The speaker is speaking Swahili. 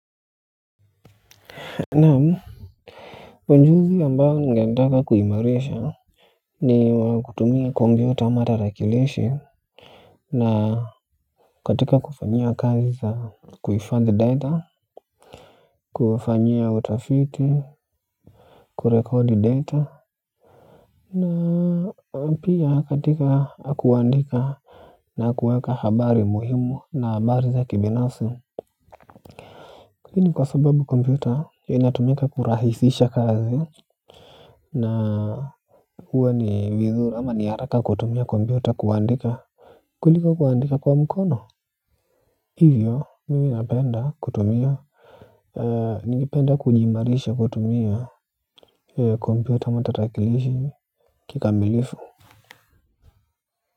Ujuzi ambao ningetaka kuimarisha ni wakutumia kompyuta ama tarakilishi na katika kufanyia kazi za kuhifadhi data kufanyia utafiti kurekodi data na pia katika kuandika na kuweka habari muhimu na habari za kibinafsi lakini kwa sababu kompyuta inatumika kurahisisha kazi na huwa ni vizuri ama ni haraka kutumia kompyuta kuandika kuliko kuandika kwa mkono. Hivyo, mimi napenda kutumia. Ningependa kujiimarisha kutumia kompyuta ama tarakilishi kikamilifu.